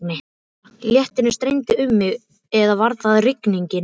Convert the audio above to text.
Léttirinn streymdi um mig eða var það rigningin?